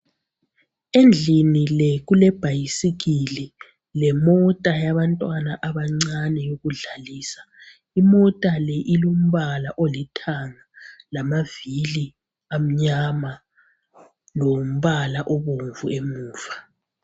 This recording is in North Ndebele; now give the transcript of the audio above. Endlini le kulebhayisikili lemota yabantwana abancane yokudlalisa. Imota le ilombala olithanga lamavili amnyama lombala obomvu emuva.